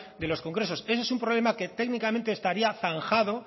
de los congresos ese es un problema que técnicamente estaría zanjado